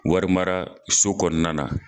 Wari mara so kɔnɔna na.